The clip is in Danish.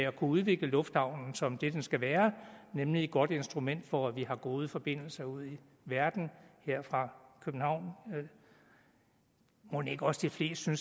at udvikle lufthavnen som det den skal være nemlig et godt instrument for at vi har gode forbindelser ud i verden her fra københavn mon ikke også de fleste